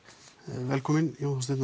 velkomin